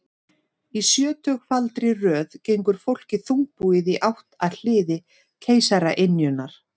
Í sjötugfaldri röð gengur fólkið þungbúið í átt að hliði keisaraynjunnar.